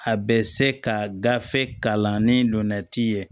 A bɛ se ka gafe kalan ni donnati ye